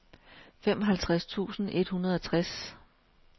femoghalvtreds tusind et hundrede og tres